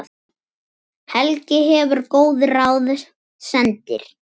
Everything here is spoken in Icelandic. Helgi gefur góð ráð, sendir